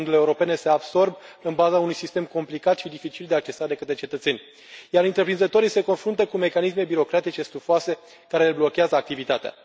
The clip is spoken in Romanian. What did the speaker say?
Fondurile europene se absorb în baza unui sistem complicat și dificil de accesat de către cetățeni, iar întreprinzătorii se confruntă cu mecanisme birocratice stufoase, care le blochează activitatea.